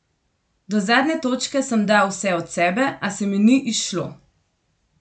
Do zadnje točke sem dal vse od sebe, a se mi ni izšlo.